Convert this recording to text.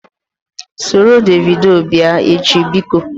Soro Davido bịa echi! Biko